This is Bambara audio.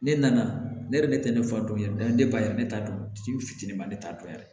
Ne nana ne yɛrɛ de fa don yɛrɛ ne ba yɛrɛ ne t'a dɔn ji fitinin ma ne t'a dɔn yɛrɛ